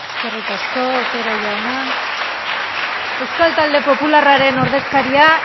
eskerrik asko otero jauna isiltasuna mesedez euskal talde popularraren ordezkaria